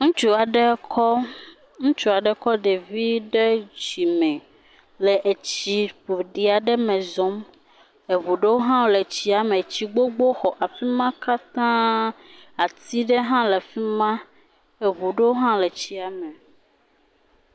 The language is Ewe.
Ŋutsu aɖe kɔ, ŋutsu aɖe kɔ ɖevi ɖe dzime le etsi ƒoɖi aɖe me zɔm, eŋu ɖewo hã wole tsia me, tsi gbogbowo xɔ afi ma katã, ati ɖe hã le fi ma, eŋu ɖewo hã le tsiame.